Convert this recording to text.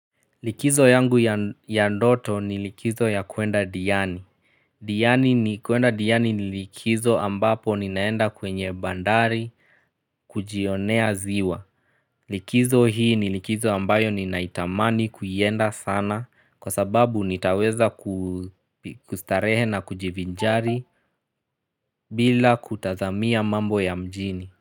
Likizo yangu ya ndoto ni likizo ya kuenda diani. Diani ni kuenda diani ni likizo ambapo ninaenda kwenye bandari kujionea ziwa. Likizo hii ni likizo ambayo ninaitamani kuienda sana kwa sababu nitaweza kustarehe na kujivinjari bila kutazamia mambo ya mjini.